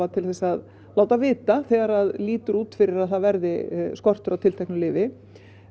til þess að láta vita þegar lítur út fyrir að það verði skortur á tilteknu lyfi